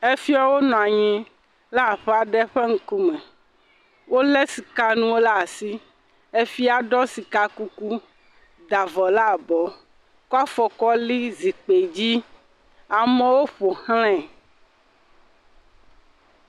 Fiawo nɔ anyi la aƒe aɖe ƒe ŋkume. Wole sika nuwo ɖe asi. Fia ɖɔ sika kuku da avɔ la abɔ kɔ afɔ kɔ li zikpui dzi. Amewo ƒoxlãe.